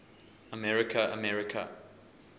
america america